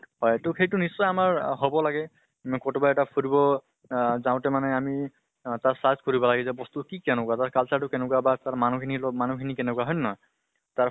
হয় তো সেইটো নিশ্চয় আমাৰ হব লাগে ন কতোবা এটা ফুৰিব আহ যাওঁতে আমি অহ তাত search কৰিব লাগে যে বস্তু কি কেনেকুৱা, তাৰ culture টো কেনেকুৱা বা তাৰ মানুহ খিনিৰ লগত মানুহ খিনি কেনেকুৱা হয় নে নহয়? তাৰ